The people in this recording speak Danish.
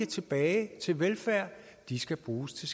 tilbage til velfærd at de skal bruges til